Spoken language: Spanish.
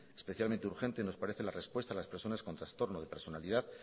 especialmente urgente nos parece la respuesta a las personas con trastornos de personalidad